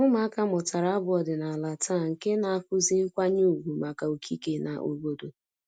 Ụmụaka mụtara abụ ọdịnala taa nke na-akụzi nkwanye ùgwù maka okike na obodo